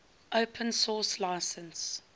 open source license